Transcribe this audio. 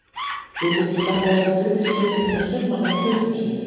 Við getum sagt að þessir hlutir séu ekkert nema summan af hlutum sínum.